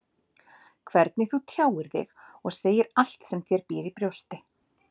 Hvernig þú tjáir þig og segir allt sem þér býr í brjósti.